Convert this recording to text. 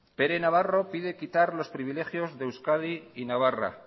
pere navarro pide quitar los privilegios de euskadi y navarra